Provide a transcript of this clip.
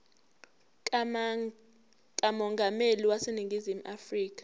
kamongameli waseningizimu afrika